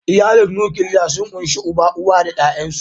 Iyalin nukiliya sun ƙunshi uba, uwa da ya'yansu.